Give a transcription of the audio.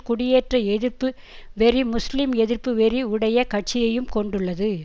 குடியேற்ற எதிர்ப்பு வெறி முஸ்லிம்எதிர்ப்பு வெறி உடைய கட்சியையும் கொண்டுள்ளது